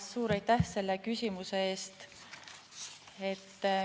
Suur aitäh selle küsimuse eest!